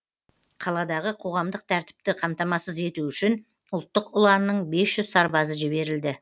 қаладағы қоғамдық тәртіпті қамтамасыз ету үшін ұлттық ұланның бес жүз сарбазы жіберілді